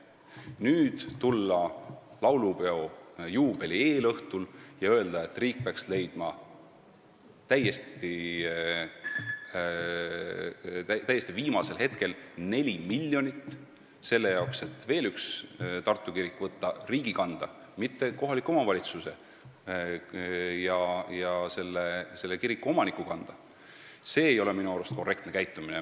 Kui nüüd tulla laulupeo juubeli eelõhtul ja öelda, et riik peaks leidma täiesti viimasel hetkel neli miljonit ja võtma veel ühe Tartu kiriku rahastamise enda kanda, mitte jätma seda kohaliku omavalitsuse ja kiriku omaniku kanda, siis see ei ole minu arust korrektne käitumine.